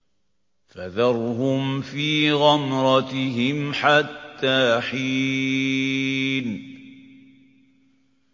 فَذَرْهُمْ فِي غَمْرَتِهِمْ حَتَّىٰ حِينٍ